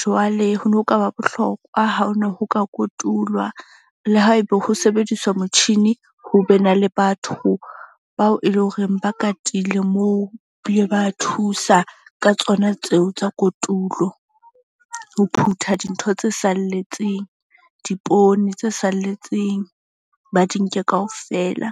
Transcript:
jwale hono kaba bohlokwa ha hona ho ka kotulwa le haebe ho sebediswa motjhini, ho be na le batho bao e leng horeng ba katile moo. Ba ile ba thusa ka tsona tseo tsa kotulo. Ho phutha dintho tse salletseng dipoone tse salletseng, ba di nke kaofela.